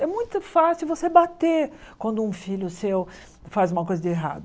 É muito fácil você bater quando um filho seu faz uma coisa de errado.